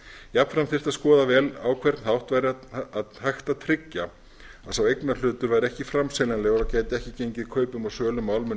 jafnframt þyrfti að skoða vel á hvern hátt væri hægt að tryggja að sá eignarhlutur væri ekki framseljanlegur og gæti ekki gengið kaupum og sölum á almennum